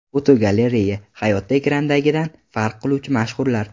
Fotogalereya: Hayotda ekrandagidan farq qiluvchi mashhurlar.